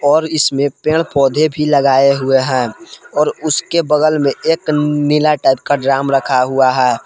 और इसमें पेड़ पौधे भी लगाए हुए हैं और उसके बगल में एक नीला टाइप का ड्रम रखा हुआ है।